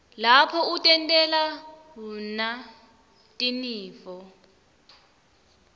lapho utentela wna tinifo